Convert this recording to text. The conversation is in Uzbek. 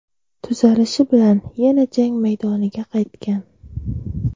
Tuzalishi bilan yana jang maydoniga qaytgan.